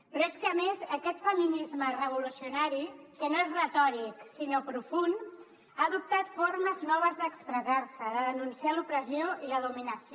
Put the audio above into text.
però és que a més aquest feminisme revolucionari que no és retòric sinó profund ha adoptat formes noves d’expressar se de denunciar l’opressió i la dominació